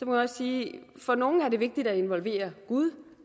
man også sige at det for nogle er vigtigt at involvere gud og